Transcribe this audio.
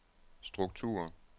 struktur